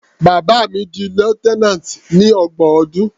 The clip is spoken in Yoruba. Bàbá mi di lieutenant ní ọgbọ̀n ọdún.